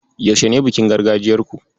Yaushe ne bikin gargajiyarku?